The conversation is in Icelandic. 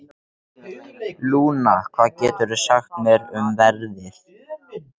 Lúna, hvað geturðu sagt mér um veðrið?